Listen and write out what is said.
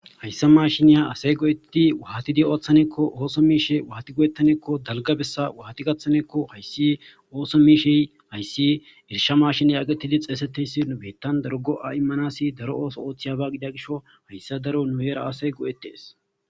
Hayssa maashiniya ase go7ettidi waati oothane giikko waati go7ettane giikko dalga bessa waati gathane giikko hayssi ootho miishshe hayssi issi goshsha maashiniya geetittidi xeesetiyaysi nu biittiyan daro go7a immanass daro ootho oothiya gishshaso daro nu heera asay go7ettees.